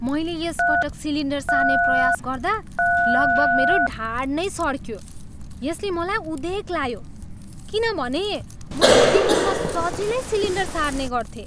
मैले यस पटक सिलिन्डर सार्ने प्रयास गर्दा लगभग मेरो ढाड नै सड्कियो यसले मलाई उदेक ला्यो किनभने मैले विगतमा सजिलै सिलिन्डर सार्ने गर्थेँ।